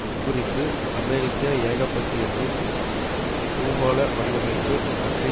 உட்குறிப்பு அமெரிக்க ஏகபத்தியத்தின் பூகோள வடிவமைப்பு பற்றி